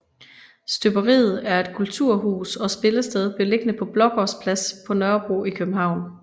Støberiet er et kulturhus og spillested beliggende på Blågårds Plads på Nørrebro i København